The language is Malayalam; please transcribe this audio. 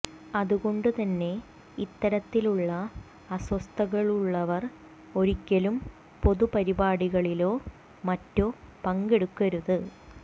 അത് കൊണ്ട് തന്നെ ഇത്തരത്തിലുള്ള അസ്വസ്ഥതകളുള്ളവർ ഒരിക്കലും പൊതുപരിപാടികളിലോ മറ്റോ പങ്കെടുക്കരുത്